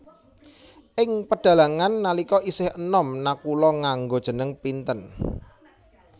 Ing pedhalangan nalika isih enom Nakula nganggo jeneng Pinten